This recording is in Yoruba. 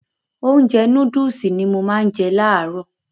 Ounjẹ nóódùsì ni mo má n je làárọ̀